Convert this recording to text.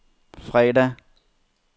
fredag